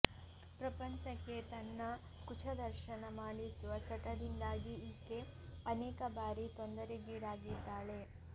ಪ್ರಪಂಚಕ್ಕೆ ತನ್ನ ಕುಚ ದರ್ಶನ ಮಾಡಿಸುವ ಚಟದಿಂದಾಗಿ ಈಕೆ ಅನೇಕ ಬಾರಿ ತೊಂದರೆಗೀಡಾಗಿದ್ದಾಳೆ